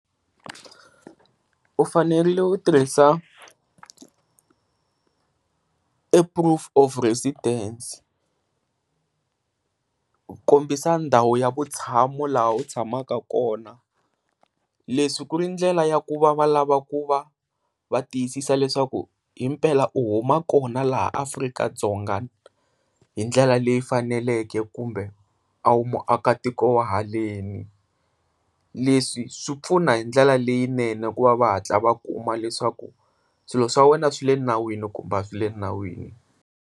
U fanerile u tirhisa proof of presidence ku kombisa ndhawu ya vutshamo laha u tshamaka kona, leswi ku ri ndlela ya ku va va lava ku va va tiyisisa leswaku hi mpela u huma kona laha Afrika-Dzonga hi ndlela leyi faneleke kumbe a wu muakatiko wa haleni. Leswi swi pfuna hi ndlela leyinene ku va va hatla va kuma leswaku swilo swa wena swi le nawini kumbe a swi le nawini.